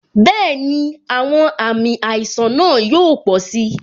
Bẹẹni, àwọn àmì àìsàn náà yóò pò si